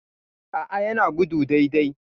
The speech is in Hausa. A'a yana gudu dai dai